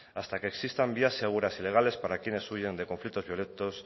hasta que existan vías seguras y legales para quienes huyan de conflictos violentos